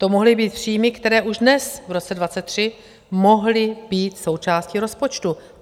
To mohly být příjmy, které už dnes, v roce 2023, mohly být součástí rozpočtu.